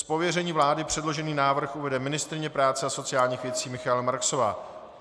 Z pověření vlády předložený návrh uvede ministryně práce a sociálních věcí Michaela Marksová.